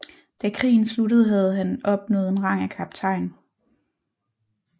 Da krigen sluttede havde han opnået en rang af kaptajn